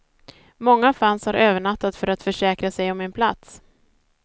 Många fans har övernattat för att försäkra sig om en plats.